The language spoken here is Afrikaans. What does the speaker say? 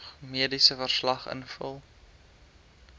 mediese verslag invul